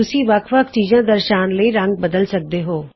ਤੁਸੀਂ ਅੱਲਗ ਅੱਲਗ ਚੀਜਾਂ ਦਰਸਾਨ ਲਈ ਰੰਗ ਬਦਲ ਸਕਦੇ ਹੋ